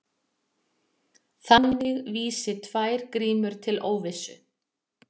Þannig vísi tvær grímur til óvissu.